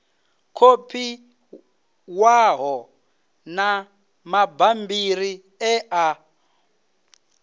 kopiwaho na mabammbiri e a